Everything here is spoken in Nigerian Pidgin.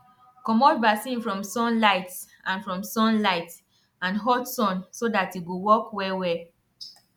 commot vaccine from sunlight and from sunlight and hot sun so that e go work well well